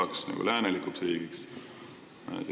Saaks nagu läänelikuks riigiks!